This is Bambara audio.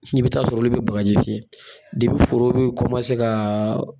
N'i bi taa sɔrɔ olu bi bagaji fiyɛ foro bi ka